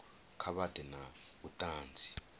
kha vha ḓe na vhuṱanzi